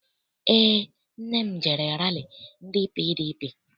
Eé, nne m jere rali ndị PDP.